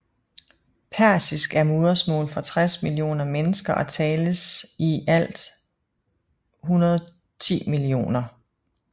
Persisk er modersmål for 60 millioner mennesker og tales af i alt 110 millioner